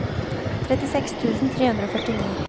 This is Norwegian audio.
trettiseks tusen tre hundre og førtini